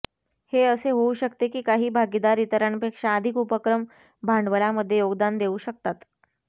हे असे होऊ शकते की काही भागीदार इतरांपेक्षा अधिक उपक्रम भांडवलामध्ये योगदान देऊ शकतात